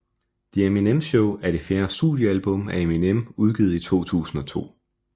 The Eminem Show er det fjerde studiealbum af Eminem udgivet i 2002